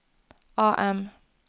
AM